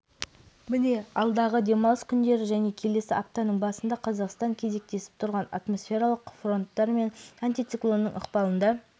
міне алдағы демалыс күндері және келесі аптаның басында қазақстан кезектесіп тұрған атмосфералық фронттар мен антициклонның ықпалында